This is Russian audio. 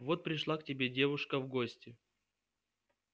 вот пришла к тебе девушка в гости